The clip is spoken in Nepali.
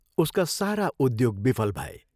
उसका सारा उद्योग विफल भए।